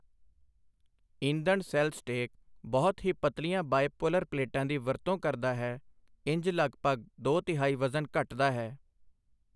ਈਂਧਣ cell stack ਬਹੁਤ ਹੀ ਪਤਲੀਆਂ ਬਾਇਪੋਲਰ ਪਲੇਟਾਂ ਦੀ ਵਰਤੋਂ ਕਰਦਾ ਹੈ, ਇੰਝ ਲਗਭਗ ਦੋ ਤਿਹਾਈ ਵਜ਼ਨ ਘਟਦਾ ਹੈ।